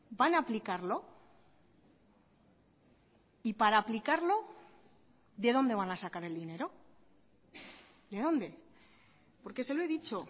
van a aplicarlo y para aplicarlo de dónde van a sacar el dinero de dónde porque se lo he dicho